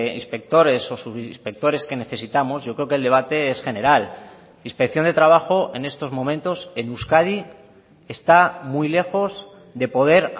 inspectores o subinspectores que necesitamos yo creo que el debate es general inspección de trabajo en estos momentos en euskadi está muy lejos de poder